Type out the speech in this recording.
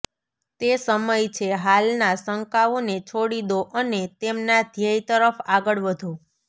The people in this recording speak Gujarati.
તે સમય છે હાલના શંકાઓને છોડી દો અને તેમના ધ્યેય તરફ આગળ વધો